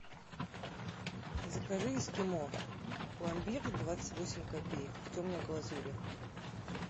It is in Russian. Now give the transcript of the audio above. закажи эскимо пломбир двадцать восемь копеек в темной глазури